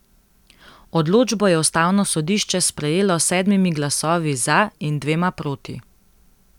Odločbo je ustavno sodišče sprejelo s sedmimi glasovi za in dvema proti.